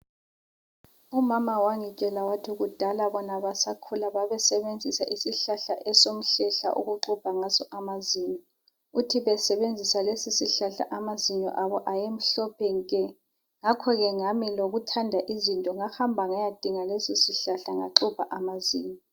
Umama wangitshela wathi kudala bona besakhula babesebenzisa isihlahla esomhlehla ukuxhubha ngaso amazinyo. Uthi besebenzisa lesi sihlahla amazinyo abo ayemhlophe nke. Ngakho ke lami ngokuthanda izinto ngahamba ngayadinga lesisihlahla ngaxubhi amazinyo.